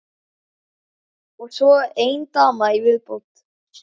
Og svo ein dama í viðbót.